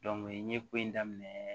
n ye ko in daminɛ